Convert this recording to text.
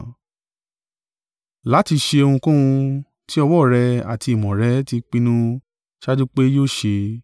láti ṣe ohunkóhun tí ọwọ́ rẹ àti ìmọ̀ rẹ̀ ti pinnu ṣáájú pé yóò ṣe.